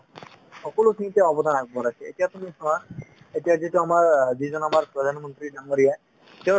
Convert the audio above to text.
সকলোখিনিতে অৱদান আগবঢ়াইছে এতিয়া তুমি চাবা এতিয়া যিটো আমাৰ যিজন আমাৰ প্ৰধানমন্ত্ৰী ডাঙৰীয়া তেওঁৰ